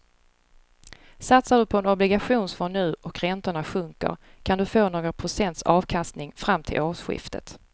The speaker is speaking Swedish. Satsar du på en obligationsfond nu och räntorna sjunker kan du få några procents avkastning fram till årsskiftet.